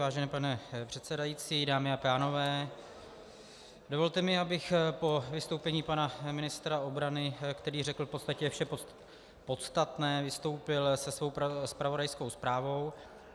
Vážený pane předsedající, dámy a pánové, dovolte mi, abych po vystoupení pana ministra obrany, který řekl v podstatě vše podstatné, vystoupil se svou zpravodajskou zprávou.